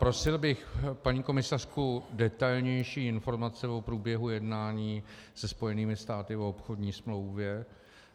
Prosil bych paní komisařku: detailnější informace o průběhu jednání se Spojenými státy o obchodní smlouvě.